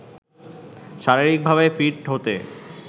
শারীরিকভাবে ফিট হতে